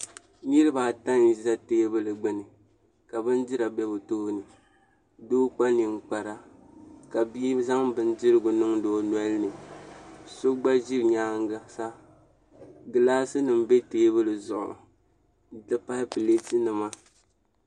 Niraba ata n bɛ teebuli gbuni ka bindira ʒɛ bi tooni doo kpa ninkpara ka bia zaŋ bindirigu niŋdi o nolini so gba ʒi nyaangi sa gilaas nim bɛ teebuli n ti pahi pileet nima